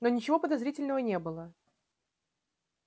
но ничего подозрительного не было